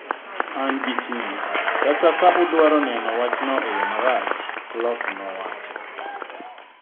"An gi ting’, kata ka udwaro neno wachno e yo marach," Klopp nowacho.